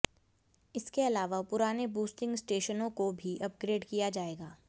इसके अलावा पुराने बूस्टिंग स्टेशनों क ो भी अपग्रेड किया जाएगा